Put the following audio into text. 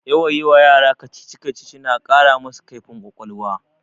Yawan yi wa yara kacici-kacici na ƙara masu kaifin ƙwaƙwalwa